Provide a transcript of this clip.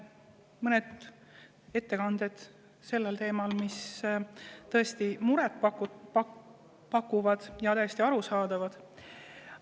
Mõned ettekanded sellel teemal, mis tõesti muret, olid täiesti arusaadavad.